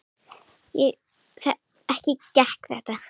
Ekki gekk það.